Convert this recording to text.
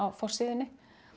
forsíðunni